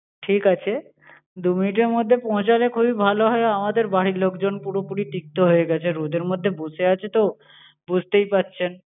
ঠিকাছে, দু minute এর মধ্যে পৌঁছালে খুবই ভালো হয়। আমাদের বাড়ির লোকজন পুরোপুরি তিপ্ত হয়ে গেছে রোদের মধ্যে বসে আছে তো বুঝতেই পারছেন।